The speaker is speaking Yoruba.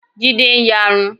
Jídé ń yarun.